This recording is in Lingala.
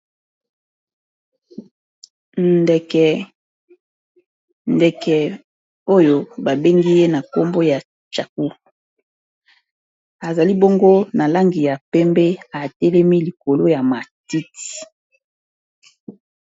ndeke oyo babengi ye na nkombo ya chacu azali bongo na langi ya pembe atelemi likolo ya matit